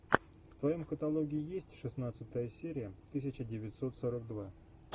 в твоем каталоге есть шестнадцатая серия тысяча девятьсот сорок два